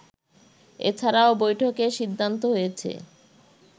এছাড়াও বৈঠকে সিদ্ধান্ত হয়েছে